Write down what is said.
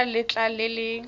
pele ga letlha le le